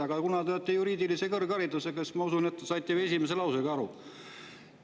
Aga kuna te olete juriidilise kõrgharidusega, siis ma usun, et te saite aru.